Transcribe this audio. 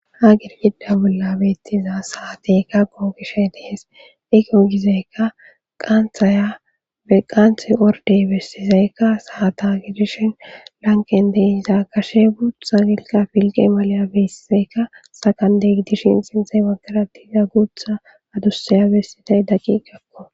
Ha girgida bolla beettiza saateyka googishe dees ikogizeyka qaantaya be qaanthe ordey bestizaykka saata gidishin lanqen deiza kashe guutha gilqa filqe malya besizaykka sakandeidishin xinzee bakaratiza guutha adussaya bessizay daqi gakko.